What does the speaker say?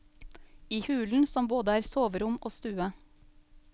I hulen som både er soverom og stue.